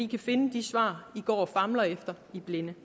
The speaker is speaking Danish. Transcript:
kan finde de svar den går og famler efter i blinde